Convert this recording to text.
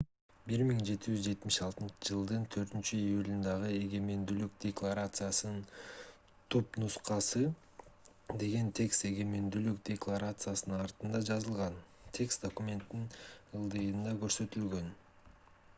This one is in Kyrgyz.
1776-жылдын 4-июлундагы эгемендүүлүк декларациясынын түпнускасы деген текст эгемендүүлүк декларациясынын артында жазылган текст документтин ылдыйында көрсөтүлгөн